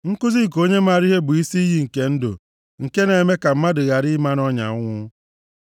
Nkuzi nke onye maara ihe bụ isi iyi nke ndụ, nke na-eme ka mmadụ ghara ịma nʼọnya ọnwụ.